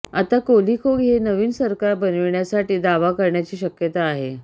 आता कोलिखो हे नवीन सरकार बनविण्यासाठी दावा करण्याची शक्यता आहे